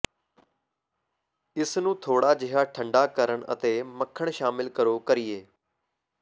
ਇਸ ਨੂੰ ਥੋੜਾ ਜਿਹਾ ਠੰਢਾ ਕਰਨ ਅਤੇ ਮੱਖਣ ਸ਼ਾਮਿਲ ਕਰੋ ਕਰੀਏ